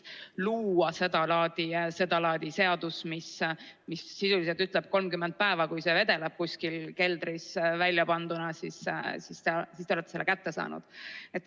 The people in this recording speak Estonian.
Luua sedalaadi seadus, mis sisuliselt ütleb, et kui see vedeleb kuskil keldris väljapanduna 30 päeva, siis te olete selle kätte saanud ...